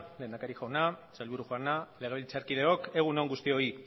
lehendakari jauna sailburu jauna legebiltzarkideok egun on guztioi